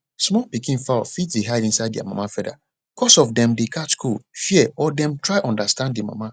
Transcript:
small pikin fowl fit dey hide inside their mama feather cos of dem dey catch cold fear or dem try understand the mama